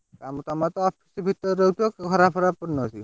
କାମ ତମର ତ ଭିତରେ ରହୁଥିବ ଘର ଫର କରୁନ କି?